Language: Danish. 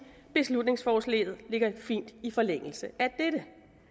at beslutningsforslaget ligger fint i forlængelse af dette